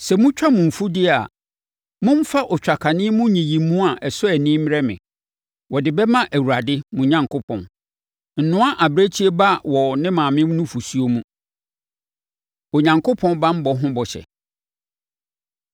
“Sɛ motwa mo mfudeɛ a, momfa otwakane mu nyiyimu a ɛsɔ ani mmrɛ me; wɔde bɛma Awurade mo Onyankopɔn. “Nnoa abirekyie ba wɔ ne maame nufosuo mu. Onyankopɔn Banbɔ Ho Bɔhyɛ